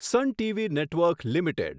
son TV network limited